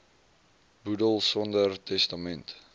boedel sonder testament